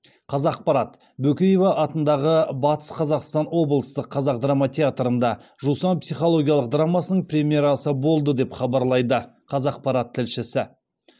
қазақпарат бөкеева атындағы батыс қазақстан облыстық қазақ драма театрында жусан психологиялық драмасының премьерасы болды деп хабарлайды қазақпарат тілшісі